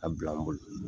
A bila n bolo